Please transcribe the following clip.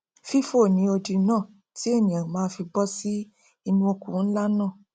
fífò ni odi náà tí ènìà máa fi bọ sí inú oko nlá náà